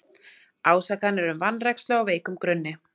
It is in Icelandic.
Ásakanir um vanrækslu á veikum grunni